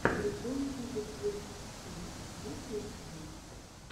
прикол куки сверл си есть ли у тебя